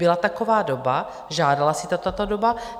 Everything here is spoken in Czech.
Byla taková doba, žádala si to ta doba.